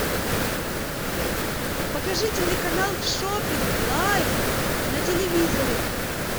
покажи телеканал шоппинг лайф на телевизоре